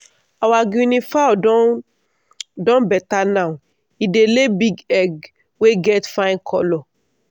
our guinea fowl don don better now he dey lay big egg wey get fine colour.